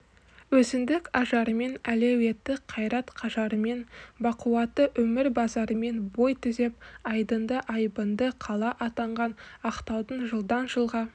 өзіндік ажарымен әлеуетті қайрат-қажарымен бақуатты өмір базарымен бой түзеп айдынды айбынды қала атанған ақтаудың жылдан-жылға